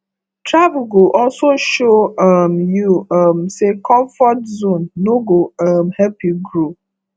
travel go also show um you um say comfort zone no go um help you grow